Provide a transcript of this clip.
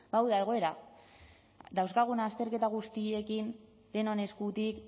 ba hau da egoera dauzkagun azterketa guztiekin denon eskutik